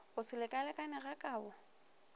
go se lekalekane ga kabo